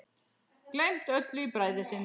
Gleymt öllu í bræði sinni.